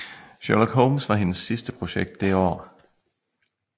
Sherlock Holmes var hendes sidste projekt det år